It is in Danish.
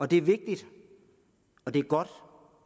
det er vigtigt og det er godt